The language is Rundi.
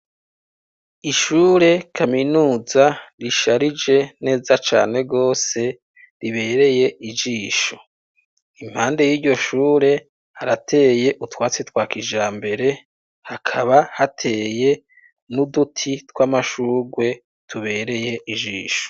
Ishure kaminuza risharije neza cane gose ribereye ijisho , impande y'iryo shure harateye utwatsi twa kijambere ,hakaba hateye n'uduti tw'amashurwe tubereye ijisho.